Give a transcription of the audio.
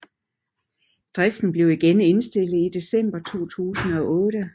Driften blev igen indstillet i december 2008